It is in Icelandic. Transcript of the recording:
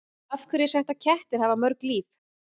Af hverju er sagt að kettir hafi mörg líf?